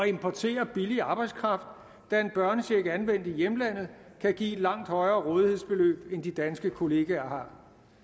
importere billig arbejdskraft da en børnecheck anvendt i hjemlandet kan give et langt højere rådighedsbeløb end de danske kollegaer har